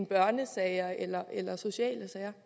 børnesager eller socialsager